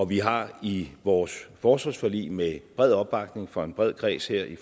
vi har i vores forsvarsforlig med bred opbakning fra en bred kreds her i